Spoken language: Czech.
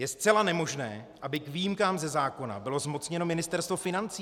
Je zcela nemožné, aby k výjimkám ze zákona bylo zmocněno Ministerstvo financí.